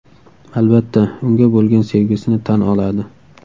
Albatta, unga bo‘lgan sevgisini tan oladi.